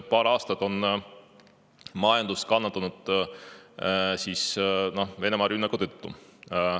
Paar aastat on majandus kannatanud Venemaa rünnaku tõttu.